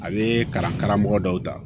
A bɛ kalan karamɔgɔ dɔw ta